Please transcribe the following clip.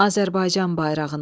Azərbaycan bayrağına.